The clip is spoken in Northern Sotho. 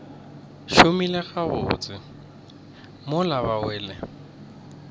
šomile gabotse mola ba wele